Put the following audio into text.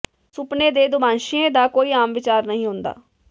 ਸੁਪਨੇ ਦੇ ਦੁਭਾਸ਼ੀਏ ਦਾ ਕੋਈ ਆਮ ਵਿਚਾਰ ਨਹੀਂ ਹੁੰਦਾ